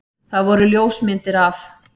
Það voru ljósmyndir af